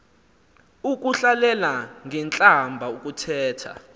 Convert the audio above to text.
ukuhlalela ngentlamba ukuthetha